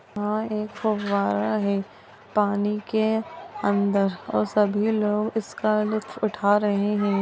वहां एक फुव्वारा है पानी के अंदर और सभी लोग इसका लुफ्त उठा रहे है।